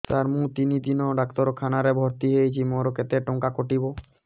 ସାର ମୁ ତିନି ଦିନ ଡାକ୍ତରଖାନା ରେ ଭର୍ତି ହେଇଛି ମୋର କେତେ ଟଙ୍କା କଟିବ